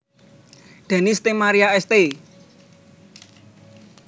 Denis Ste Marie St